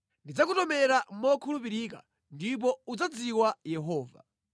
Ndidzakutomera mokhulupirika ndipo udzadziwa Yehova.